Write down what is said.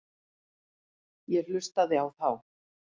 Ég hlustaði á þá.